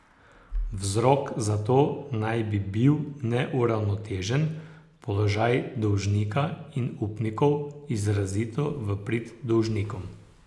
Vzrok za to naj bi bil neuravnotežen položaj dolžnika in upnikov izrazito v prid dolžnikom.